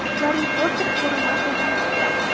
Garri Potter ko‘rinmas yopinchiqda.